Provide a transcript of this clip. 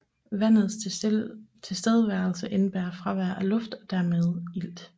Vandets tilstedeværelse indebærer fravær af luft og dermed ilt